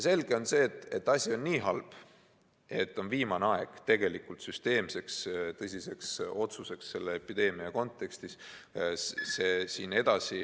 Selge on see, et asi on niivõrd halb, et on viimane aeg teha selle epideemia kontekstis tõsine süsteemne otsus.